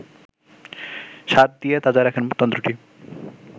সার দিয়ে তাজা রাখেন তন্ত্রটি